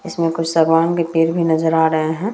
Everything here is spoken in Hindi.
इसमें कुछ सगवान के पेड़ भी नजर आ रहे हैं।